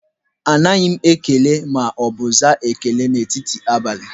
Anaghị m ekele ma ọ bụ aza ekele n'etiti abalị.